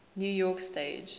new york stage